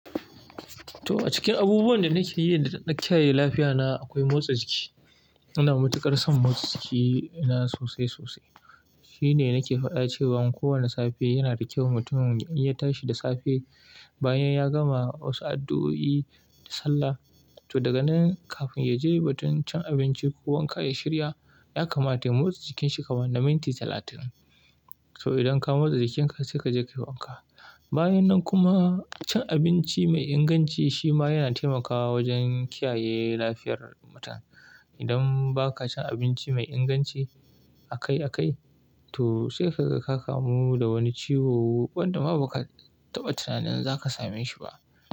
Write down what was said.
To a cikin abubuwan da nake yi da dada kiyaye lafiya na akwai motsa jiki. Ina matuƙar son motsa jiki na sosai sosai. Shi ne nake faɗa cewan kowane safe yana da kyau mutum in ya tashi da safe bayan ya gama wasu addu'o'i da sallah. To daga nan kafin ya je batun cin abinci ko wanka ya shirya, ya kamata ya motsa jikin shi kaman na minti talatin. To idan ka motsa jikin ka sai kaje ka yi wanka. Bayan nan kuma cin abinci mai inganci shi ma yana taimakawa wajen kiyaye lafiyar mutum. Idan ba ka cin abinci mai inganci akai akai, to sai kaga ka kamu da wani ciwo wanda ma ba ka taɓa tunanin za ka same shi ba.